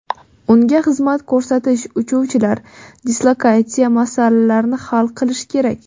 Unga xizmat ko‘rsatish, uchuvchilar, dislokatsiya masalalarini hal qilish kerak.